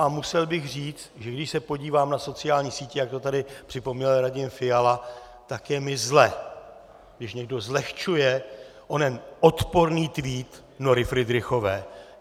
A musel bych říct, že když se podívám na sociální sítě, jak to tady připomněl Radim Fiala, tak je mi zle, když někdo zlehčuje onen odporný tweet Nory Fridrichové.